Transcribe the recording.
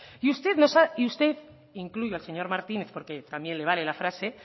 y usted incluyo al señor martínez porque también le vale la frase